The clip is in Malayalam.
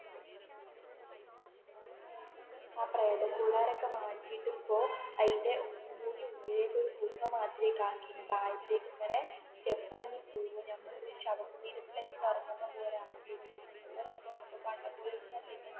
ആ പ്രേത കൂടാരം ഒക്കേ മാറ്റിയിട്ട് ഇപ്പോ അയിന്റെ ഉള്ളിലേക്ക് ഒരു ഗുഹ മാത്രം ആക്കി താഴത്തേക്കു ഇങ്ങനെ സ്റ്റെപ് ഇറങ്ങി പോകുമ്പോൾ നമ്മൾ ഒരു ശവ കൂടീരത്തിലേക്ക് ഇറങ്ങുന്ന പോലെ ആണ് തോന്നൂ നല്ല രസം ഉണ്ട് പണ്ടത്തെ പോലെ ഒന്നും അല്ല